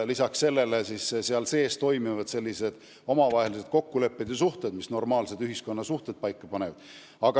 Lisaks sellele toimivad omavahelised kokkulepped ja suhted, mis normaalses ühiskonnas elu paika panevad.